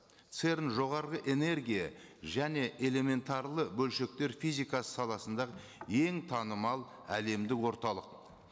церн жоғарғы энергия және элементарлы бөлшектер физикасы саласындағы ең танымал әлемдік орталық